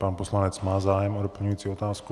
Pan poslanec má zájem o doplňující otázku.